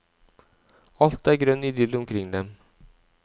Alt er grønn idyll omkring dem.